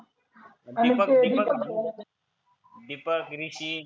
Deepak Deepak Deepak, Rishi